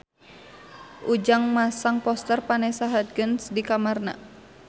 Ujang masang poster Vanessa Hudgens di kamarna